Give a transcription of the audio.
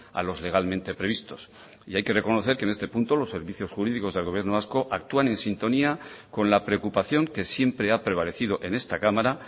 a los legalmente previstos y hay que reconocer que en este punto los servicios jurídicos del gobierno vasco actúan en sintonía con la preocupación que siempre ha prevalecido en esta cámara